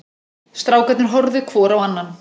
Strákarnir horfðu hvor á annan.